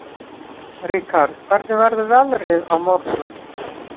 Ríkharð, hvernig verður veðrið á morgun?